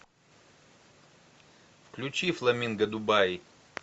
включи фламинго дубаи